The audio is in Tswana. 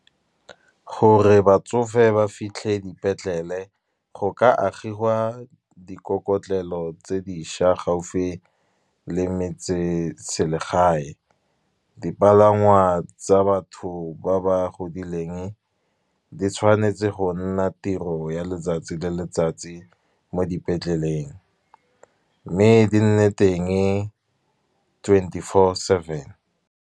Gore batsofe ba fitlhe dipetlele go ka agiwa dikokelo tse dišwa gaufi le metseselegae. Dipalangwa tsa batho ba ba godileng di tshwanetse go nna tiro ya letsatsi le letsatsi mo dipetleleng, mme di nne teng twenty four seven.